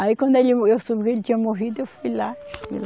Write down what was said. Aí quando ele, eu soube que ele tinha morrido, eu fui lá.